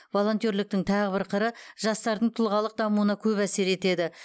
волонтерліктің тағы бір қыры жастардың тұлғалық дамуына көп әсер етеді